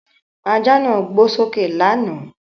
Ajá náà gbó sókè lánàá.